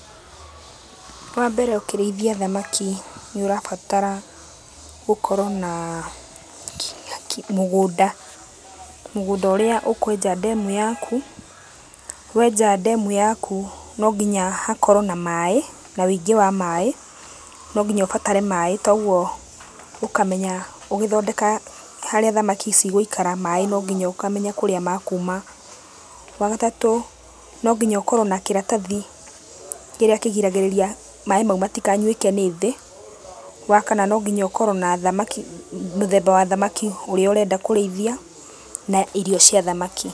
Wambere ũkĩrĩithia thamaki nĩũrabatara gũkorwo naa mũgũnda, mũgũnda ũrĩa ũkwenja ndemu yaku. Wenja ndemu yaku no nginya hakorwo na maĩ, na wĩingĩ wa maĩ, no nginya ũbatare maĩ, toguo ũkamenya ũgĩthondeka harĩa thamaki cigũikara, maĩ no nginya ũkamenya kũrĩa ma kuma. Wagatatũ no nginya ũkorwo na kĩratathi kĩrĩa kĩgiragĩrĩria maĩ mau matikanyuĩke nĩ thĩ. Wa kana no nginya ũkorwo na thamaki, mũthemba wa thamaki ũrĩa ũrenda kũrĩithia na irio cia thamaki.